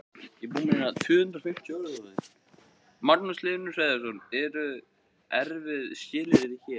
Magnús Hlynur Hreiðarsson: Eru erfið skilyrði hér?